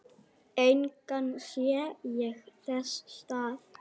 Engan sé ég þess stað.